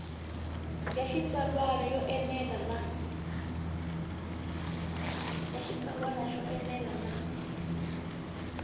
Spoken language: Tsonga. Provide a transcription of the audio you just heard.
ya xitsalwana yo enela na